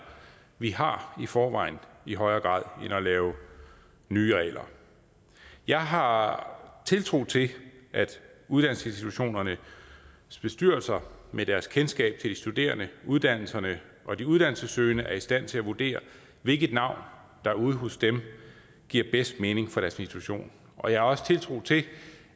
vi har i forvejen i højere grad end at lave nye regler jeg har tiltro til at uddannelsesinstitutionernes bestyrelser med deres kendskab til de studerende uddannelserne og de uddannelsessøgende er i stand til at vurdere hvilket navn der ude hos dem giver bedst mening for deres institution og jeg har også tiltro til